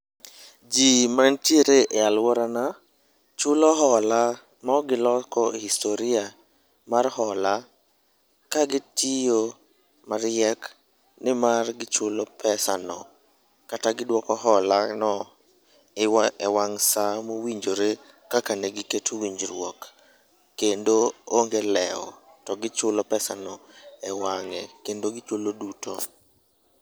Ji mantiere e alworana chulo hola mok giloko historia mar hola ka gitiyo mariek ni mar gichulo pesano kata gidwoko holano e wang' sa mowinjore kaka negiketo winjruok. Kendo onge lewo ,to gichulo pesano e wang'e kendo gichulo duto.